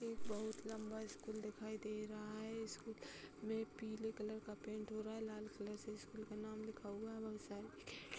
एक बहुत लंबा स्कूल दिखाई दे रहा है। स्कूल में पीले कलर का पेंट हो रहा है। लाल रंग से स्कूल का नाम लिखा हुआ है। बहुत सारे --